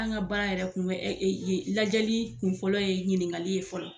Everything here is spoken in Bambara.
An ka baara yɛrɛ kun bɛ lajɛli kun fɔlɔ ye ɲininkali ye fɔlɔ.